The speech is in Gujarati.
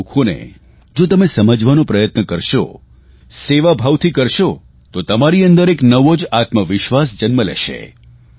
એમના દુઃખોને જો તમે સમજવાનો પ્રયત્ન કરશો સેવાભાવથી કરશો તો તમારી અંદર એક નવો જ આત્મવિશ્વાસ જન્મ લેશે